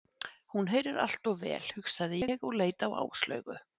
Hún heyrir allt of vel, hugsaði ég og leit á Áslaugu.